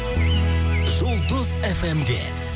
жұлдыз фм де